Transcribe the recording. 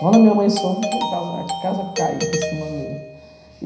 Quando a minha mãe soube, foi a casa caiu em cima dele.